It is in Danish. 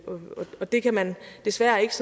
og det kan man desværre ikke